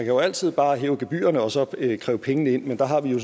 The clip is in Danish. jo altid bare hæve gebyrerne og så kræve pengene ind men der har vi jo